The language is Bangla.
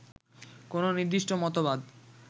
কোনো নির্দিষ্ট মতবাদ